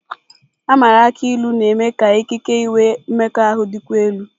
A maara akụ ilu na-eme ka ikike inwe mmekọahụ dịkwuo elu.